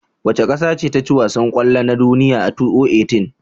Wace ƙasace taci wasan kwallo na duniya a 2018?